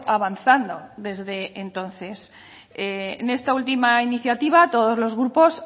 avanzando desde entonces en esta última iniciativa todos los grupos